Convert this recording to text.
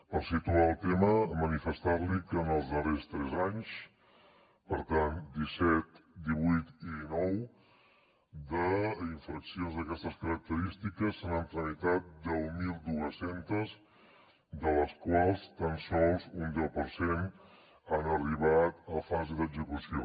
per situar el tema manifestar li que en els darrers tres anys per tant disset divuit i dinou d’infraccions d’aquestes característiques se n’han tramitat deu mil dos cents de les quals tan sols un deu per cent han arribat a fase d’execució